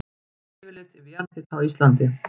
Yfirlit yfir jarðhita á Íslandi.